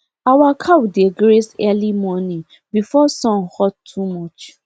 our cow dey graze early morning before sun hot too much